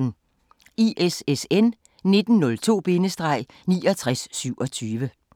ISSN 1902-6927